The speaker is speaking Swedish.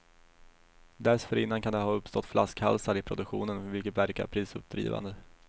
Dessförinnan kan det ha uppstått flaskhalsar i produktionen, vilket verkar prisuppdrivande.